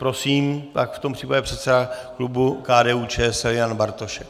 Prosím, pak v tom případě předseda klubu KDU-ČSL Jan Bartošek.